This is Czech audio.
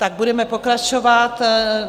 Tak budeme pokračovat.